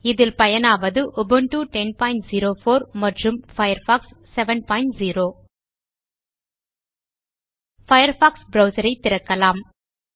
இதில் பயனாவது உபுண்டு 1004 மற்றும் பயர்ஃபாக்ஸ் 70 பயர்ஃபாக்ஸ் ப்ரவ்சர் ஐத் திறக்கலாம்